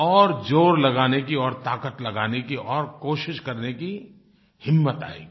और ज़ोर लगाने की और ताक़त लगाने की और कोशिश करने की हिम्मत आएगी